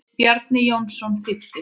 Bjarni Jónsson þýddi.